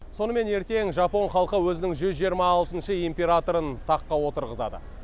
сонымен ертең жапон халқы өзінің жүз жиырма алтыншы императорын таққа отырғызады